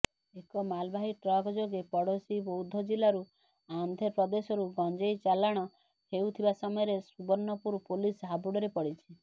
ଏକ ମାଲବାହୀ ଟ୍ରକଯୋଗେ ପଡୋଶୀ ବୌଦ୍ଧଜିଲ୍ଲାରୁ ଆନ୍ଧ୍ରପ୍ରଦେଶକୁ ଗଞ୍ଜେଇ ଚାଲାଣ ହେଉଥିବା ସମୟରେ ସୁବର୍ଣପୁର ପୋଲିସ ହାବୁଡରେ ପଡିଛି